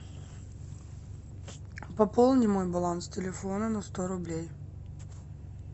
пополни мой баланс телефона на сто рублей